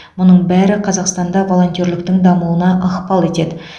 мұның бәрі қазақстанда волонтерліктің дамуына ықпал етеді